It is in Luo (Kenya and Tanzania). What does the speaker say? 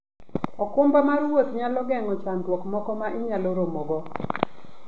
okumba mar wuoth nyalo geng'o chandruoge moko ma inyalo romogo.